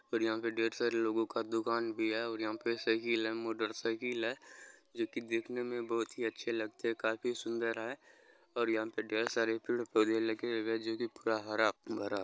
और यहाँ पे ढेर सारे लोगों का दुकान भी है। यहाँ पे साइकिल है मोटर साइकिल है जो की देखने मे बहुत अच्छे लगते है काफी सुंदर है और यहाँ पे ढेर सारे पेड़-पौधे लगे हुए है जो की पूरा हरा-भरा --